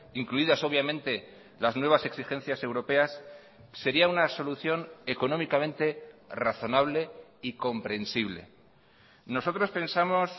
incluidas obviamente las nuevas exigencias europeas sería una solución económicamente razonable y comprensible nosotros pensamos